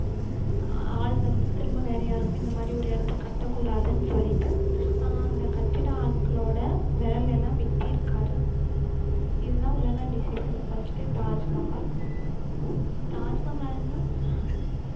ஆள் வந்து திரும்ப வேற யாருக்கும் இந்த மாதிரி ஒரு இடத்த கட்டக்கூடாதுன்னு சொல்லிட்டு அஹ் அந்த கட்டிட ஆட்களோட விரலை எல்லாம் வெட்டியிருக்காரு இதுதான் உலக அதிசயத்துல first உ தாஜ்மஹால் உம் தாஜ்மஹால்னா